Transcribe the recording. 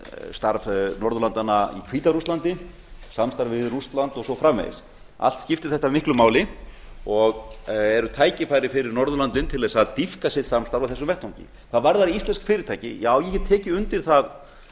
starf norðurlandanna í hvíta rússlandi samstarf við rússland og svo framvegis allt skiptir þetta miklu máli og eru tækifæri fyrir norðurlöndin til að dýpka sitt samstarf á þessum vettvangi hvað varðar íslensk fyrirtæki já ég get tekið undir það